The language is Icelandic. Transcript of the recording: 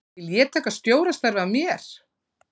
Vil ég taka stjórastarfið að mér?